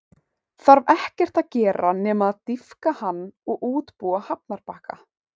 Þarf ekkert að gera nema að dýpka hann og útbúa hafnarbakka.